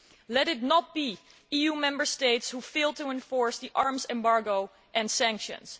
Let it not be EU Member States who fail to enforce the arms embargo and sanctions.